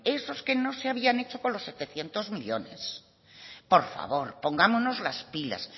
esos que no se habían hecho con los setecientos millónes por favor pongámonos las pilas